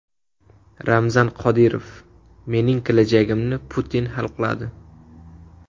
Ramzan Qodirov: mening kelajagimni Putin hal qiladi.